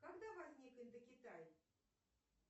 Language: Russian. когда возник индокитай